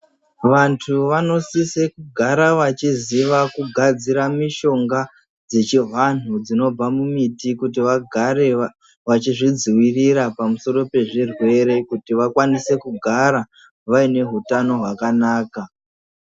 Vantu vanosise kugara vachiziva kugadzira mishonga dzechivantu dzinobva mumiti kuti vagare vachizvidzivirira pamusoro pezvirwere kuti vakwanise kugara vaine hutani hwakanaka